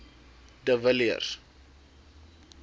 de villiers